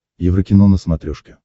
еврокино на смотрешке